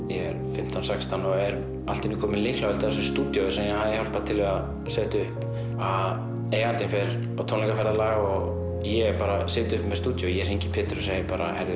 fimmtán sextán ára og er allt í einu kominn með lyklavöld að þessu stúdíói sem ég hafði hjálpað til við að setja upp að eigandinn fer á tónleikaferðalag og ég bara sit uppi með stúdíó ég hringi í Pétur og segi